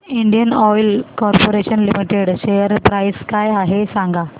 Indian oil corporation limited share price काय आहे सांगा